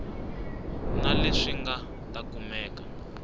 na leswi nga ta kumeka